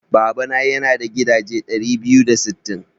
Babana yana da gidaje ɗari biyu da sittin.